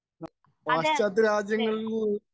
speaker 2 അതെ അതെ